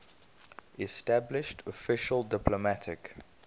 established official diplomatic